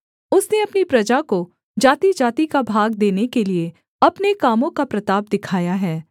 उसने अपनी प्रजा को जातिजाति का भाग देने के लिये अपने कामों का प्रताप दिखाया है